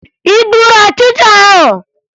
Ị gburu ọchịcha ahụ?